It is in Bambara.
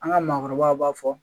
An ka maakɔrɔbaw b'a fɔ